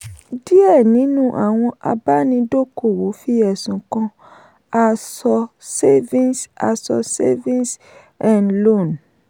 díẹ̀ nínú àwọn àbánidókòwò fi ẹ̀sùn kan asọ savings asọ savings um loans.